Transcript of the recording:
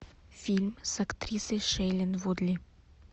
фильм с актрисой шейлин вудли